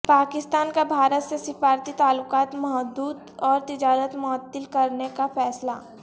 پاکستان کا بھارت سے سفارتی تعلقات محدود اور تجارت معطل کرنے کا فیصلہ